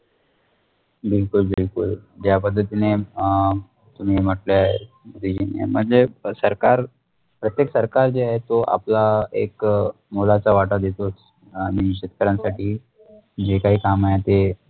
बिलकुल बिलकुल ज्या बद्दल तुम्ही अ तुम्ही म्टलं म्णजे सरकार प्रत्यक सरकार जे आहे तो आपल्या एक मुळाचा वाटा दिसतो आणि शेतकरण्याचा साठी जेकाही काम आहेते